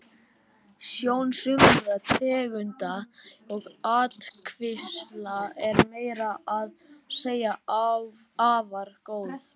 Sjón sumra tegunda og ættkvísla er meira að segja afar góð.